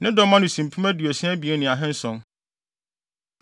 Ne dɔm ano si mpem aduosia abien ne ahanson (62,700).